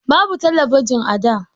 Babu talabijin a da.